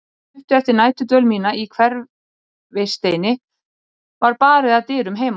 Stuttu eftir næturdvöl mína í Hverfisteini var barið að dyrum heima.